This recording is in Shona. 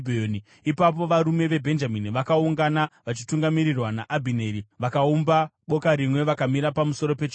Ipapo varume veBhenjamini vakaungana vachitungamirirwa naAbhineri. Vakaumba boka rimwe vakamira pamusoro pechikomo.